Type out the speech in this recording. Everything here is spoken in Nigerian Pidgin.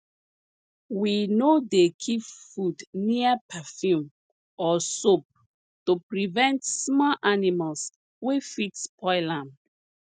we no dey keep food near perfume or soap to prevent small animals wey fit spoil am